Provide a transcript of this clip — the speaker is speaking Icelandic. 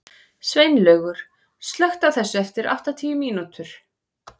Sveinlaugur, slökktu á þessu eftir áttatíu mínútur.